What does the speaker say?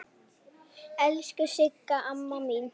Elsku Sigga amma mín.